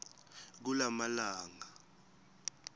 kulamalangana